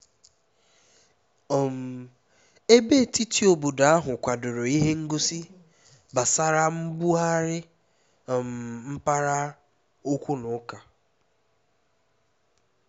um ebe etiti obodo ahụ kwadoro ihe ngosi gbasara mbugharị um mpaghara na okwu nka